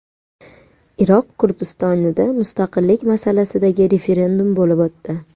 Iroq Kurdistonida mustaqillik masalasidagi referendum bo‘lib o‘tdi.